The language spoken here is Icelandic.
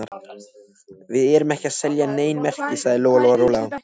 Við erum ekki að selja nein merki, sagði Lóa Lóa rólega.